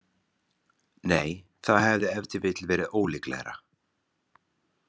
Nei, það hefði ef til vill verið ólíklegra.